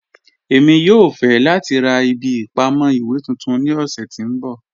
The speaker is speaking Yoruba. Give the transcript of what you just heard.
Ẹ̀mi yòò fẹ̀ lati rá ìbí ìpamọ̀ iwe tuntun ní ọ̀ṣẹ̀ tí n bọ́.